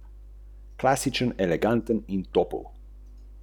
Pravzaprav mučenec vseh mučencev.